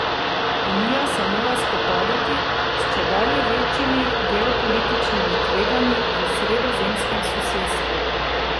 Unija se mora spopadati s čedalje večjimi geopolitičnimi tveganji v sredozemskem sosedstvu.